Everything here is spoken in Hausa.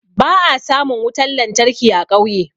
Ba'a samun wutan lantarki a ƙauye.